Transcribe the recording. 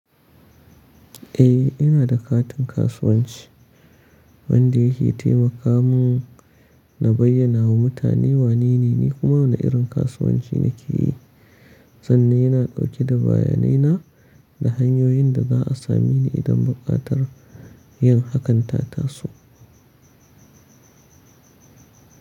Eh, ina da katin kasuwanci wanda yake taimaka mun na bayyana wa mutane wanene ni kuma wane irin kasuwanci nake yi. Sannan yana dauke da bayanai na da hanyoyin da za a sami ni idan buƙatar yin hakanta taso.